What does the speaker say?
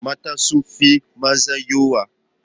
Mata sun fi maza yawa.